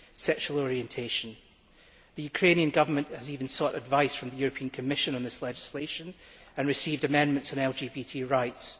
sexual orientation. The Ukrainian Government has even sought advice from the European Commission on this legislation and received amendments on LGBT rights.